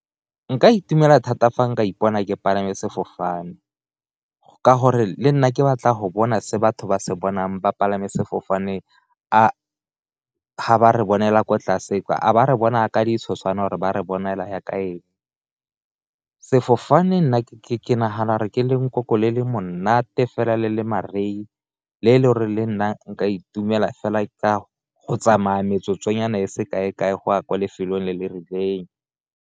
Nka itumela thata fa nka ipona ke palame sefofane ka gore le nna ke batla go bona se batho ba se bonang ba palame sefofane ga ba re bonela ko tlase, a ba re bona ka ditshoswane or ba re bonela jaaka eng, sefofane nna ke nagana re ke le nkoko le le monate fela le le marei, ke le le o re le nnang nka itumela fela ka go tsamaya metsotso nyana e se kae-kae go a kwa lefelong le le rileng.